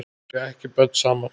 Þau eiga ekki börn saman.